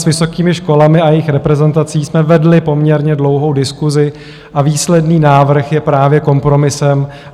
S vysokými školami a jejich reprezentací jsme vedli poměrně dlouhou diskusi a výsledný návrh je právě kompromisem.